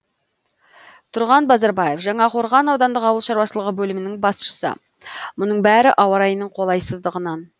тұрған базарбаев жаңақорған аудандық ауыл шаруашылығы бөлімінің басшысы мұның бәрі ауа райының қолайсыздығынан